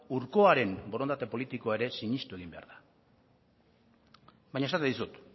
hurkoaren borondate politikoa ere sinistu egin behar da baina esaten dizut